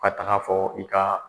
Ka tag'a fɔ i ka